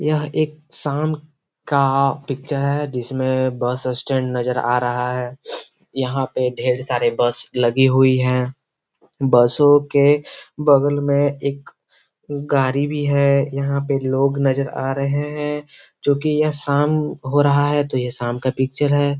यह एक शाम का पिक्चर हैजिसमें बस स्टैंड नजर आ रहा है यहाँ पे ढेर सारे बस लगी हुई है बसों के बगल में एक गाड़ी भी है यहाँ पे लोग नजर आ रहे है जो यह शाम हो रहा है तो ये शाम का पिक्चर है।